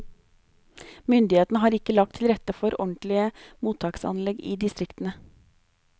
Myndighetene har ikke lagt til rette for ordentlige mottaksanlegg i distriktene.